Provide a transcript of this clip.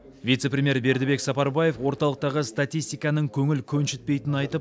вице премьер бердібек сапарбаев орталықтағы статистиканың көңіл көншітпейтінін айтып